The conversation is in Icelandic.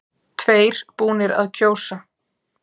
Tveir búnir að kjósa